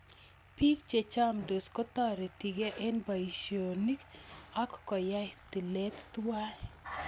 Biik che chamtos kotoretigei eng boisyoniik ak koyai tilet tuwai.